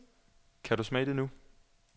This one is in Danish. Kan du smage det nu?